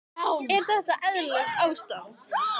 Er þetta eðlilegt ástand?